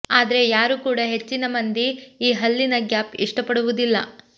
ಆದ್ರೆ ಯಾರೂ ಕೂಡಾ ಹೆಚ್ಚಿನ ಮಂದಿ ಈ ಹಲ್ಲಿನ ಗ್ಯಾಪ್ ಇಷ್ಟಪಡುವುದಿಲ್ಲ